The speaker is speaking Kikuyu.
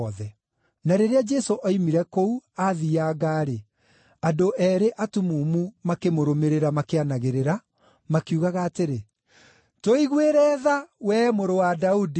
Na rĩrĩa Jesũ oimire kũu, aathianga-rĩ, andũ eerĩ atumumu makĩmũrũmĩrĩra, makĩanagĩrĩra, makiugaga atĩrĩ, “Tũiguĩre tha, wee Mũrũ wa Daudi!”